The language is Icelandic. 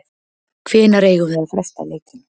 Hvenær eigum við að fresta leikjum?